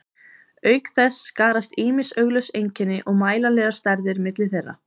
auk þess skarast ýmis augljós einkenni og mælanlegar stærðir milli þeirra